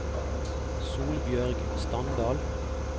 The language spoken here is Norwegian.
Solbjørg Standal